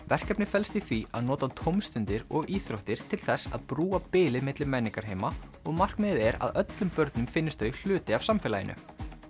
verkefnið felst í því að nota tómstundir og íþróttir til þess að brúa bilið milli menningarheima og markmiðið er að öllum börnum finnist þau hluti af samfélaginu